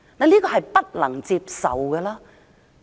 這是不能接受的。